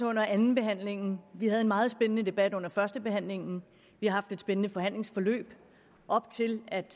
under andenbehandlingen vi havde en meget spændende debat under førstebehandlingen vi har haft et spændende forhandlingsforløb op til at